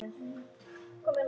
Sofðu rótt, elsku pabbi.